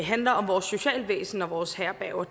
handler om vores socialvæsen og vores herberger